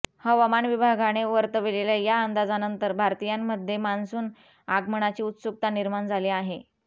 हवामान विभागाने वर्तवलेल्या या अंदाजानंतर भारतीयांमध्ये मान्सून आमगनाची उत्सुकता निर्माण झाली आहे